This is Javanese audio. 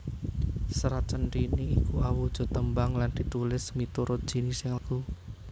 Serat Centhini iku awujud tembang lan ditulis miturut jinising lagu